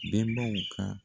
Benbaw ka